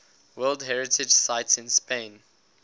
world heritage sites in spain